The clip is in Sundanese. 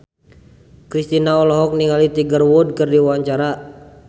Kristina olohok ningali Tiger Wood keur diwawancara